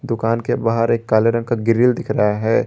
दुकान के बाहर एक काले रंग का ग्रिल दिख रहा है।